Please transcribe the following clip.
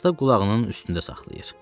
Yazda qulağının üstündə saxlayır.